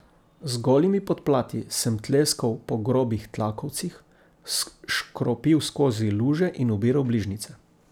Z golimi podplati sem tleskal po grobih tlakovcih, škropil skozi luže in ubiral bližnjice.